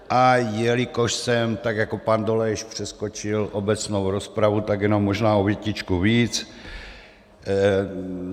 A jelikož jsem, tak jako pan Dolejš, přeskočil obecnou rozpravu, tak jenom možná o větičku víc.